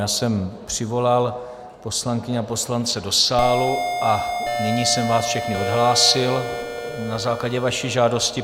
Já jsem přivolal poslankyně a poslance do sálu a nyní jsem vás všechny odhlásil na základě vaší žádosti.